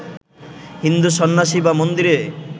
হিন্দু সন্ন্যাসী বা মন্দিরে